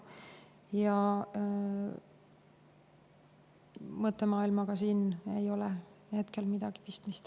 Ja mõttemaailmaga ei ole siin hetkel midagi pistmist.